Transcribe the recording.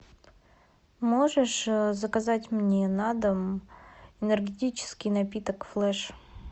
можешь заказать мне на дом энергетический напиток флэш